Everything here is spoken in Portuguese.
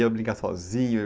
Ia brincar sozinho?